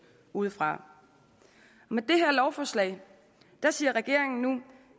udefra med det her lovforslag siger regeringen nu